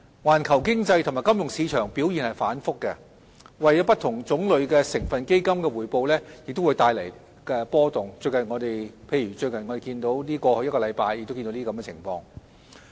環球經濟及金融市場表現反覆，為不同種類成分基金的回報帶來波動，例如我們在過去一個星期亦看到這種情況。